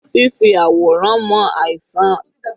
Fífì àwòrán mọ àìsàn jẹ́ ọ̀kan lára àwọn ẹ̀ka ìṣègùn.